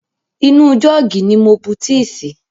Inú jọ́ọ̀gì ni mo bu tíì sí.